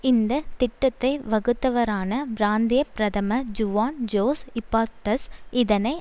இந்த திட்டத்தை வகுத்தவரான பிராந்திய பிரதமர் ஜுவான் ஜோஸ் இபார்ட்க்ஸ் இதனை